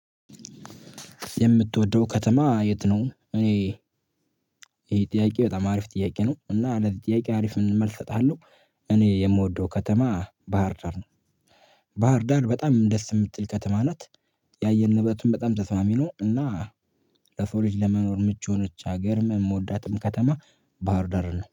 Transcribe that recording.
የምትወደው ከተማ የት ነው? እኔ ይሄ ጥያቄ በጣም አሪፍ ጥያቄ ነው እና ለዚህ ለጥያቄ አሪፍ መልስ እሰጥሃለሁ። እኔ የምወደው ከተማ ባህርዳር ነው። ባህርዳር በጣም ደስ የምትል ከተማ ናት። ያየር ንብረቱም በጣም ተስማሚ ነው እና ለሰው ልጅ ለመኖር ምጩ የሆነች ሀገር የምወዳትም ከተማ ባህር ዳርን ነው